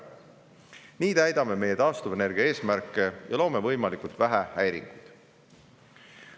Nii täidame meie taastuvenergia eesmärke ja loome võimalikult vähe häiringuid.